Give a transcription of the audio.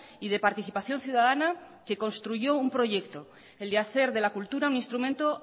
y de participación ciudadana que construyó un proyecto el de hacer de la cultura un instrumento